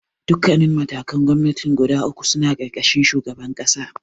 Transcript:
Dukkannin matakan gwamnatin guda ukun suna ƙarƙashin shugaban ƙasa.